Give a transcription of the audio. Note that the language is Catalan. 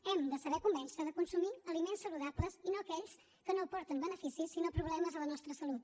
hem de saber convèncer de consumir aliments saludables i no aquells que no aporten beneficis sinó problemes a la nostra salut